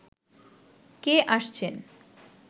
কে আসছেন